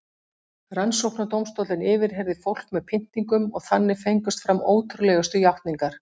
Rannsóknardómstóllinn yfirheyrði fólk með pyntingum og þannig fengust fram ótrúlegustu játningar.